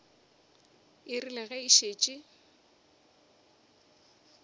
e rile ge e šetše